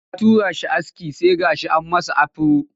Na tura shi aske sai gashi an yi masa afiro